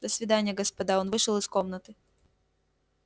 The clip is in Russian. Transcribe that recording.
до свидания господа он вышел из комнаты